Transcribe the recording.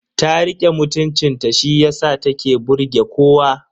Ta rike mutuncin ta shiyasa ta ke burge kowa.